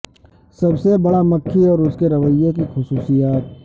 سب سے بڑا مکھی اور اس کے رویے کی خصوصیات